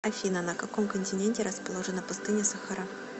афина на каком континенте расположена пустыня сахара